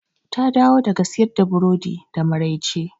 Ta dawo daga siyar da burodi da maraice.